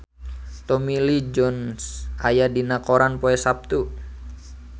Tommy Lee Jones aya dina koran poe Saptu